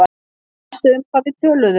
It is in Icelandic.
Manstu um hvað við töluðum?